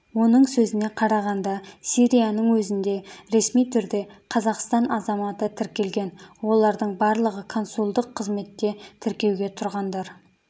оның сөзіне қарағанда сирияның өзінде ресми түрде қазақстан азаматы тіркелген олардың барлығы консулдық қызметте тіркеуге тұрғандар